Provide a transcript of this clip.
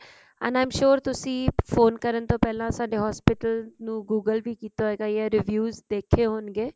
and i am sure ਤੁਸੀਂ phone ਕਰਨ ਤੋਂ ਪਹਿਲਾਂ ਸੇ hospital ਨੂੰ google ਵੀ ਕੀਤਾ ਹੋਇਗਾ ਯਾ reviews ਦੇਖੇ ਹੋਣਗੇ